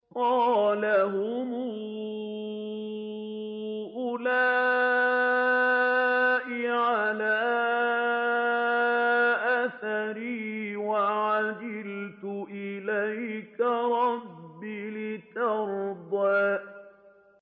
قَالَ هُمْ أُولَاءِ عَلَىٰ أَثَرِي وَعَجِلْتُ إِلَيْكَ رَبِّ لِتَرْضَىٰ